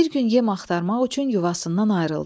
Bir gün yem axtarmaq üçün yuvasından ayrıldı.